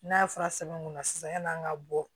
N'a fɔra sɛbɛn mun na sisan yan'an ka bɔ